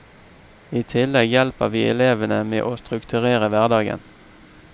I tillegg hjelper vi elevene med å strukturere hverdagen.